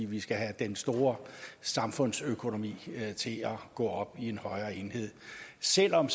vi skal have den store samfundsøkonomi til at gå op i en højere enhed selv om